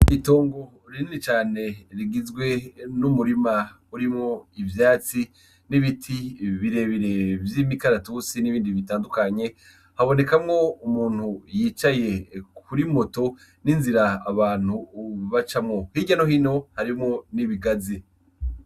Itongo rinini cane rigizwe n'umurima urimwo ivyatsi n'ibiti birebire vy'imikaratusi n'ibindi bitandukanye habonekamwo umuntu yicaye kuri moto n'inzira abantu bacamwo, hirya no hino harimwo n'ibigazi.